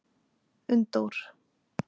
Unndór